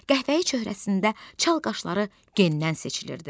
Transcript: Qəhvəyi çöhrəsində çal qaşları gendən seçilirdi.